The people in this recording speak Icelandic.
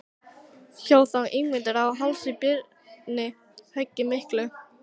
Hjó þá Ingimundur á háls Birni höggi miklu.